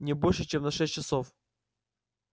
не больше чем на шесть часов